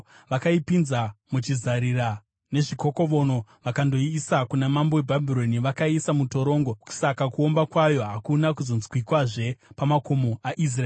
Vakaipinza muchizarira nezvikokovono vakandoiisa kuna mambo weBhabhironi. Vakaiisa mutorongo, saka kuomba kwayo hakuna kuzonzwikwazve pamakomo aIsraeri.